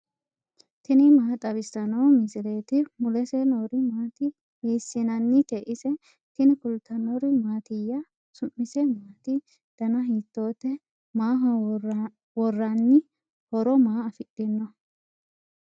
tini maa xawissanno misileeti ? mulese noori maati ? hiissinannite ise ? tini kultannori mattiya? su'mise maatti? danna hiittotte? maaho woranni? horo maa afidhinno?